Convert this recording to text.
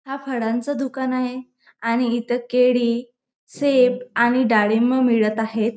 हा फडांचा दुकान आहे आणि इथ केळी सेफ आणि डाळिंब मिळत आहेत.